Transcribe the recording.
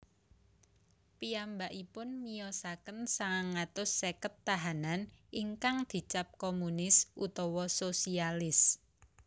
Piyambakipun miyosaken sangang atus seket tahanan ingkang dicap komunis utawa sosialis